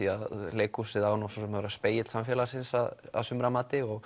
leikhúsið á að vera spegill samfélagsins að sumra mati